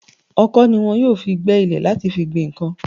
Ọ̀kọ̀ ni wọn yóò fi gbẹ́ ilẹ̀ láti fi gbin nǹkan.